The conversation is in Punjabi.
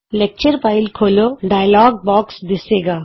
ਲੈਕਚਰ ਫਾਈਲ ਖੋਲ੍ਹੋ ਦਾ ਡਾਇਲੋਗ ਬੌਕਸ ਦਿੱਸੇਗਾ